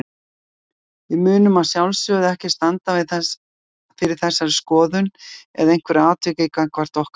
Við munum að sjálfsögðu ekki standa fyrir þessari skoðun eða einhverju atviki gagnvart okkar leikmanni.